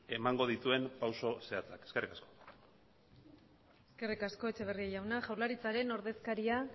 emango dituen pausu zehatzak eskerrik asko eskerrik asko etxeberria jauna jaurlaritzaren ordezkariak